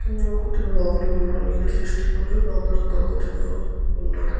కింద ఒక అతను లోపలి కి వెళ్ళడానికి ఎదురు చూస్తున్నాడు. లోపల ఇంకొక అతను ఉన్నారు.